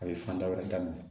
A ye fanda wɛrɛ daminɛ